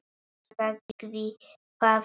Ég sagði það víst.